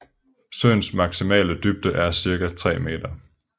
Søens maksimale dybde er ca 3 meter